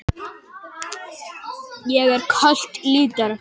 Hann er örlítið fýldur og lætur það heyrast.